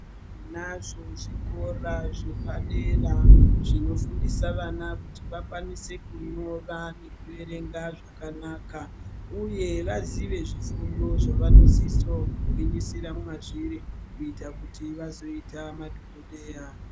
Tinazvo zvikora zvepa dera zvino fundisa vana kuti vakwanise kunyora neku erenga zvakanaka uye vazive zvifundo zva vanosiso ku gwinyisira mazviri kuita kuti vazoita madhokodheya.